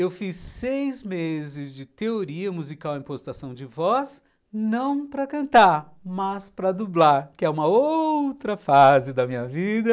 Eu fiz seis meses de teoria musical em postação de voz, não para cantar, mas para dublar, que é uma outra fase da minha vida.